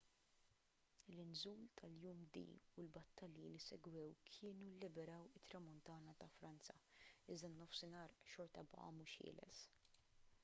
l-inżul tal-jum d u l-battalji li segwew kienu lliberaw it-tramuntana ta' franza iżda n-nofsinhar xorta baqa' mhux ħieles